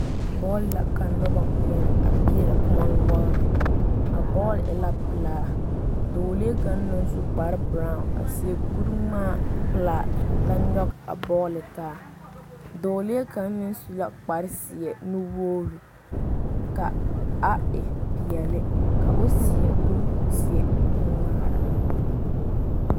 Bɔl la ka noba ŋmɛɛre a pegle kõɔ noɔre a bɔl e la pelaa Dɔɔ lee kaŋa naŋ su kpare bere a seɛ kuri ŋma peɛle la nyoŋ a bɔl taa dɔɔlee kaŋ meŋ su la kpare ziɛ nuwogre ka a e peɛle ko'o seɛ kuri ziɛ nuŋmare.